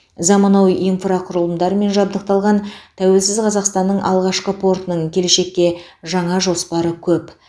заманауи инфрақұрылымдармен жабдықталған тәуелсіз қазақстанның алғашқы портының келешекке жаңа жоспары көп